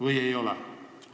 Või seda ei ole?